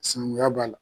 Sinankunya b'a la